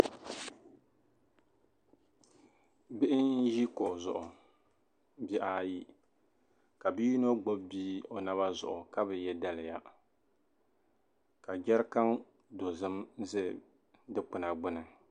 Bihi n-ʒi kuɣa zuɣu bihi ayi ka bi'yino gbubi bia o naba zuɣu ka be ye daliya ka jarikan dozim za dikpuna gbuni.